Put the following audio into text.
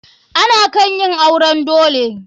Ana kan yin auren dole.